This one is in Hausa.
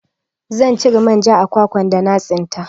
Zan cire manja a kwakwan da na tsinka